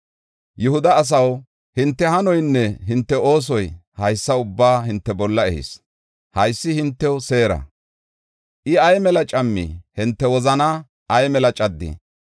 Yihuda asaw, hinte hanoynne hinte oosoy haysa ubbaa hinte bolla ehis. Haysi hintew seera. I ay mela cammi! Hinte wozanaa ay mela caddi!